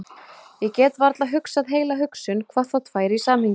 Ég get varla hugsað heila hugsun, hvað þá tvær í samhengi.